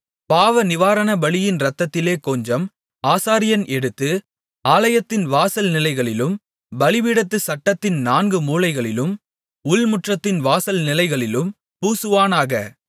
பாவநிவாரணபலியின் இரத்தத்திலே கொஞ்சம் ஆசாரியன் எடுத்து ஆலயத்தின் வாசல் நிலைகளிலும் பலிபீடத்துச் சட்டத்தின் நான்கு மூலைகளிலும் உள்முற்றத்தின் வாசல் நிலைகளிலும் பூசுவானாக